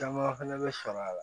Caman fɛnɛ bɛ sɔrɔ a la